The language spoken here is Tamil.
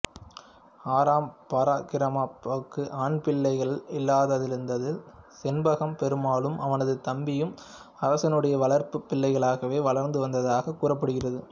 ஆறாம் பரக்கிரமபாகுவுக்கு ஆண் பிள்ளைகள் இல்லாதிருந்ததால் செண்பகப் பெருமாளும் அவனது தம்பியும் அரசனுடைய வளர்ப்புப் பிள்ளைகளாகவே வளர்ந்து வந்ததாகக் கூறப்படுகின்றது